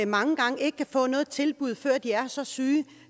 mange gange ikke kan få noget tilbud før de er så syge